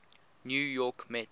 new york mets